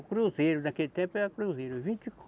O cruzeiro naquele tempo era cruzeiro. Vinte